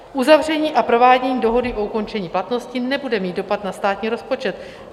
Uzavření a provádění dohody o ukončení platnosti nebude mít dopad na státní rozpočet.